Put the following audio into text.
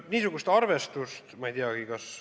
Niisugust arvestust ma ei teagi.